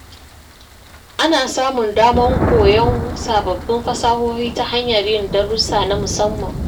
Ana samun damar koyon sababbin fasahohi ta hanyar yin darussa na musamman.